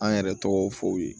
An yɛrɛ tɔgɔ fɔ ye